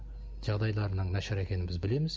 жағдайларының нашар екенін біз білеміз